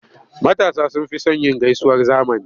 Matasa sun fi son yin gaisuwar zamani.